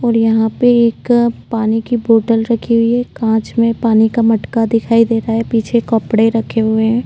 और यहां पर एक पानी की बोतल रखी हुई है। कांच मे पानी का मटका दिखाई दे रहा है। पीछे कपड़े रखे हुए हैं।